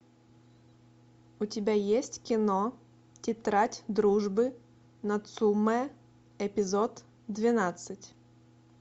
у тебя есть кино тетрадь дружбы нацумэ эпизод двенадцать